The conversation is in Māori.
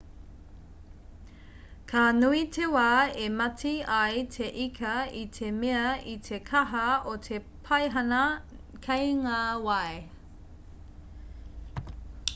ka nui te wā e mate ai te ika i te mea i te kaha o te paihana kei ngā wai